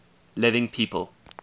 living people